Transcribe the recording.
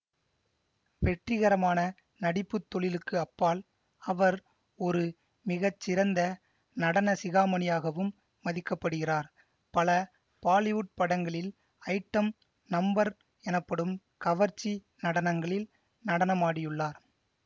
வெற்றிகரமான நடிப்பு தொழிலுக்கு அப்பால் அவர் ஒரு மிக சிறந்த நடனசிகாமணியாகவும் மதிக்கப்படுகிறார் பல பாலிவுட் படங்களில் ஐட்டம் நம்பர் எனப்படும் கவர்ச்சி நடனங்களில் நடனமாடியுள்ளார்